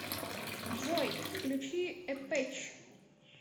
джой включи эпэч